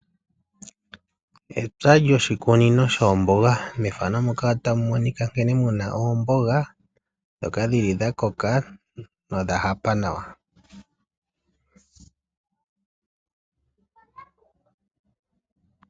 Epya lyoshikunino shoomboga. Mefano muka otamu monik monika nkene muna oomboga dhoka dhili dha koka nodha hapa nawa.